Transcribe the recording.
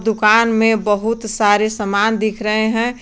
दुकान में बहुत सारे सामान दिख रहे हैं।